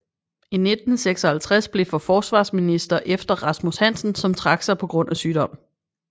I 1956 blev for forsvarsminister efter Rasmus Hansen som trak sig på grund af sygdom